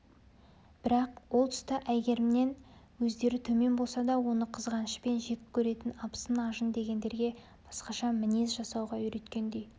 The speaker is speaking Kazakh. бірақ ол тұста әйгерімнен өздері төмен болса да оны қызғанышпен жек көретін абысын-ажын дегендерге басқаша мінез жасауға үйреткендей